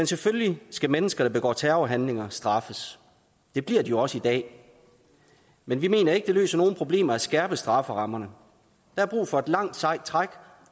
selvfølgelig skal mennesker der begår terrorhandlinger straffes det bliver de jo også i dag men vi mener ikke at det løser nogen problemer at skærpe strafferammerne der er brug for et langt sejt træk